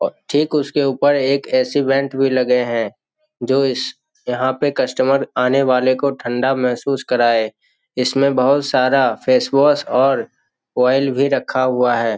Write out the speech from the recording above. और ठीक उसके ऊपर एक ए.सी. वेंट भी लगे हैं जो इस यहाँ पर कस्टमर आने वाले को ठंडा महसूस कराय इसमें बहुत सारा फेस वॉश और ऑइल भी रखा हुआ है।